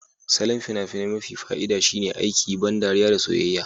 Salon fina-finai mafi fa'ida shine aiki, ban ɗariya da soyayya.